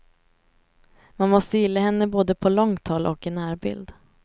Man måste gilla henne både på långt håll och i närbild.